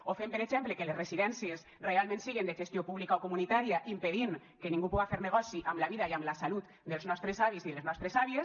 o fem per exemple que les residències realment siguen de gestió pública o comunitària impedint que ningú puga fer negoci amb la vida i amb la salut dels nostres avis i les nostres àvies